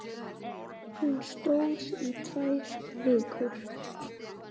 Hún stóð í tvær vikur.